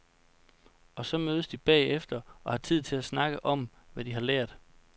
Og så mødes de bagefter og har tid til at snakke om, hvad de har lært.